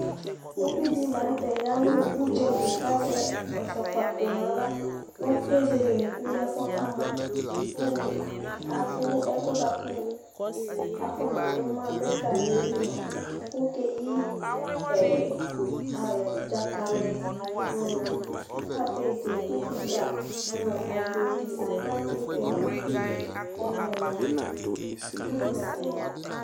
Uvidi lanutɛ ya nu udzali ku azɛ ɛzɔkpako nu aɣla ku ezele unuku lɛ ku ɔkamɔ ku adu ɛkuɛ afɔnadu ɛga nu ili mua ku eyi dzakali nu kapet nu kɔmkumba nu agbedi nu aklate timati nu ɛkuni